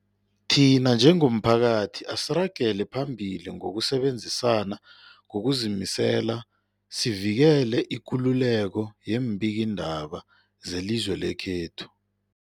Thina njengomphakathi, asiragele phambili ngokusebenzisana ngokuzimisela sivikele ikululeko yeembikiindaba zelizwe lekhethu.